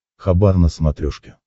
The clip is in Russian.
хабар на смотрешке